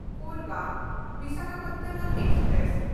ᱠᱳᱨᱵᱟ–ᱵᱤᱥᱟᱠᱷᱟᱯᱟᱴᱱᱟᱢ express